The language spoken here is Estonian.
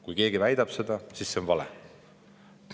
Kui keegi väidab seda, siis see on vale.